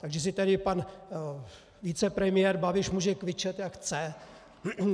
Takže si tady pan vicepremiér Babiš může kvičet, jak chce.